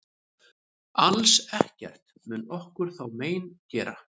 Alls ekkert mun okkur þá mein gera.